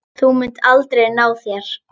Þú munt aldrei ná þér.